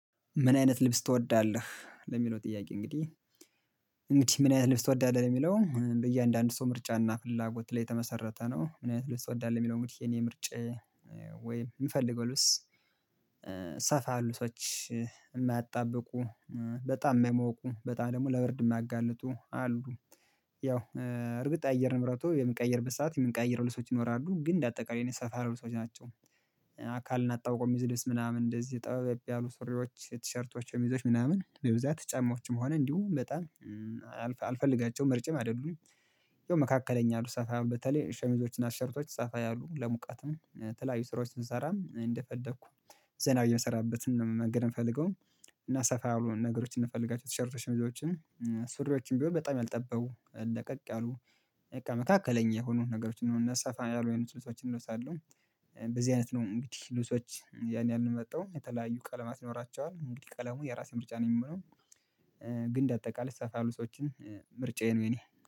ምን አይነት ልብስ ትወዳለህ ለሚለው ጥያቄ እንግዲህ ምን አይነት ልብስ ትወዳለህ ሚለው በየአንዳንዱ ሰው ምርጫ እና ፍላጎት ላይ የተመሰረተ ነው ምን አይነት ልብስ ትወዳለህ የሚለው እንግዲህ የኔ ምርጫየ ወይም እምፈልገው ልብስ ሰፋ ያሉ ልብሶች ማያጣብቁ በጣም ማይሞቁ በጣም ደግሞ ለብርድ ማጋልጡ አሉ ያው እርግጥ አየር ንብረቱ የሚቀየር ሰዓት የምንቀያይረው ልብሶች ይኖራሉ ግን አጠቃላይ የኔ ሰፋ ያሉ ልሶች ናቸው አካልና ታውቆም ይዘድስ ምናም እንደዚህ ጠበብ ያሉ ስሩዎች፣ ቲሽርትዎች፣ ሸሚዞች ምናምን በብዛት ጨማዎች መሆንም እንዲሁ በጣም አልፈልጋቸው ምርጫም አደሉኝ። ያው መካከለኛ ያሉ ሰፋ በተለይ ሸሚዞችና ሸርቶች ሰፋ ያሉ ለሙቀትም የተለዩ ስሩዎችን ስነሳራ እንደፈደኩ ዘናዊ እምሰራበት እና መንገድን እፈልገው እና ሰፋ ያሉ ነገሮችን እፈልጋቸው ሸርቶች ሸሚዞችን ስሩዎችን ብየው በጣም አልጠበው። ለቀቅ ያሉ፣ መካከለኛ የሆኑ ነገሮችን እና ሰፋ ያሉ የልስ ልሶችን እለሳለሁ። ብዙነት ነው ምትህ ልሶች ያን ያህል እመጣው የተለዩ ቀለማት ይኖራቸዋል። ምትህ ቀለሙ የራሴ ምርጫ ነው የሚሆነው ግን አጠቃላይ ለሰፋ ያሉ ልሶችን ምርጫየው የኔ።